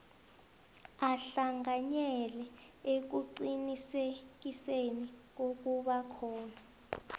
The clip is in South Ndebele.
ahlanganyele ekuqinisekiseni kokubakhona